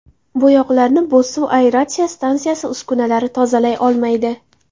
Bo‘yoqlarni Bo‘zsuv aeratsiya stansiyasi uskunalari tozalay olmaydi.